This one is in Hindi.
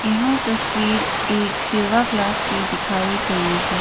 यह तस्वीर एक योगा क्लास की दिखाई गई है।